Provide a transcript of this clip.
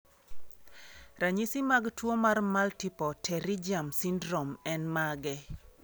Ranyisi mag tuwo mar multiple pterygium syndrome en mage?